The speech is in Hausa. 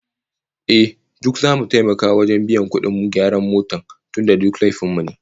Ehh, duk zamu taimaka wajen biyan kudin gyaran motar tunda da laifin mu